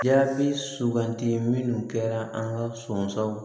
Jaabi sugandi minnu kɛra an ka sɔnsanw